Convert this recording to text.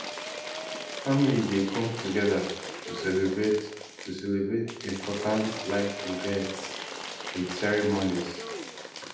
family dey come together to celebrate to celebrate important life events with ceremonies